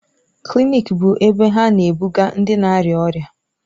Klịnịkị bụ ebe ha na-ebuga ndị na-arịa ọrịa.